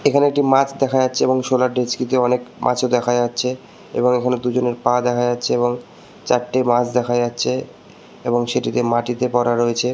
এখানে একটি মাছ দেখা যাচ্ছে এবং সোলার ডিস্কি তে অনেক মাছ ও দেখা যাচ্ছ এবং ওখানে দুজনের পা দেখা যাচ্ছে এবং চারটে মাছ দেখা যাচ্ছেএবং সেটিতে মাটিতে পড়া রয়েছে।